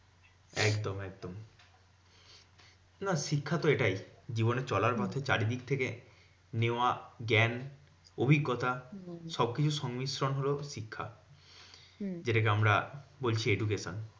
একদম একদম না শিক্ষা তো এটাই। জীবনে চলার পথে চারিদিক থেকে নেওয়া জ্ঞান, অভিজ্ঞতা সবকিছুর সংমিশ্রণ হলো শিক্ষা। যেটা কে আমরা বলছি education.